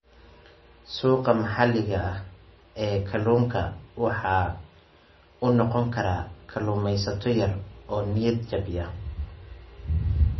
Suuqa maxalliga ah ee kalluunka waxa uu noqon karaa kalluumaysato yar, oo niyad-jabiya.